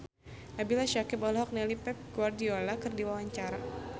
Nabila Syakieb olohok ningali Pep Guardiola keur diwawancara